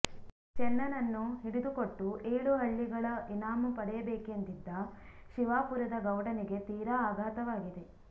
ಚೆನ್ನನನ್ನು ಹಿಡಿದುಕೊಟ್ಟು ಏಳು ಹಳ್ಳಿಗಳ ಇನಾಮು ಪಡೆಯಬೇಕೆಂದಿದ್ದ ಶಿವಾಪುರದ ಗೌಡನಿಗೆ ತೀರ ಆಘಾತವಾಗಿದೆ